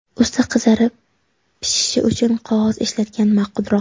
Usti qizarib pishishi uchun qog‘oz ishlatgan ma’qulroq.